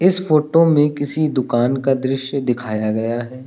इस फोटो में किसी दुकान का दृश्य दिखाया गया है।